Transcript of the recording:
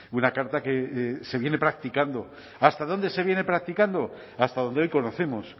una carta que se viene practicando hasta dónde se viene practicando hasta donde hoy conocemos